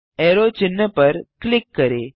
arrow चिन्ह पर click करें